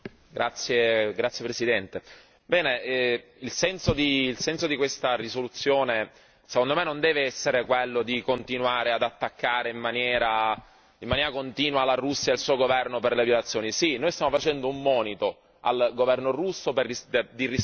Signor Presidente, onorevoli colleghi, il senso di questa risoluzione secondo me non deve essere quello di continuare ad attaccare in maniera continua la Russia e il suo governo per le violazioni. Sì, noi stiamo facendo un monito al governo russo di rispettare